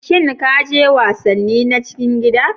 Shin ka je wasanni na cikin gida?